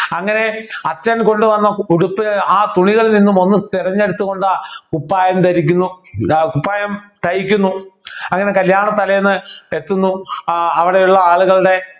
അങ്ങനെ അച്ഛൻ കൊണ്ടുവന്ന ഉടുപ്പ് ആ തുണികളിൽ നിന്നും ഒന്നു തെരഞ്ഞെടുത്തു കൊണ്ട് കുപ്പായം ധരിക്കുന്നു ഇത് കുപ്പായം തയ്ക്കുന്നു അങ്ങനെ കല്യാണ തലേന്ന് എത്തുന്നു ആഹ് അവിടെയുള്ള ആളുകളുടെ